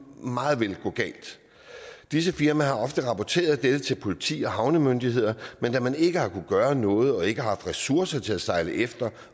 meget vel gå galt disse firmaer har ofte rapporteret dette til politi og havnemyndigheder men da man ikke har kunnet gøre noget og ikke haft ressourcer til at sejle efter